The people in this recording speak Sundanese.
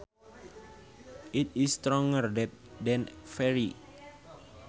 It is stronger than very